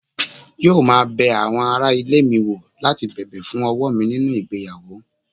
yóò máa bẹ àwọn ará ilé mi wò láti bẹ̀bẹ̀ fún ọwọ́ mi nínú ìgbéyàwó